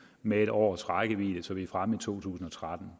med et års rækkevidde så vi er fremme i to tusind og tretten